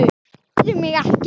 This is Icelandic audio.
Tefðu mig ekki.